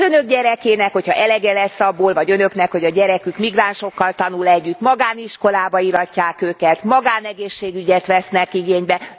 Az Önök gyerekének, hogyha elege lesz abból vagy Önöknek hogy a gyerekük migránsokkal tanul együtt magániskolába íratják őket, magánegészségügyet vesznek igénybe.